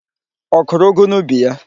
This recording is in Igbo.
Ọ kụrụ ụgụ n'ubi ya?